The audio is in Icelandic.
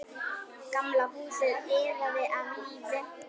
Gamla húsið iðaði af lífi.